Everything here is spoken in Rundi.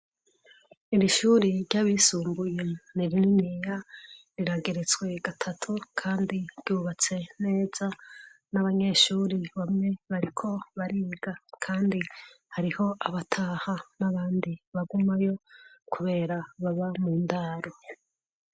iri shuri ry'abisumbuye nirininiya rirageretswe gatatu kandi ryubatse neza n'abanyeshuri bamwe bariko bariga kandi hariho abataha n'abandi bagumayo kubera baba mu ndaru